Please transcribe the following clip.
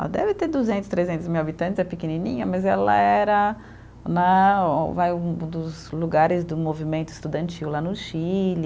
Ela deve ter duzentos, trezentos mil habitantes, é pequenininha, mas ela era né vai um dos lugares do movimento estudantil lá no Chile.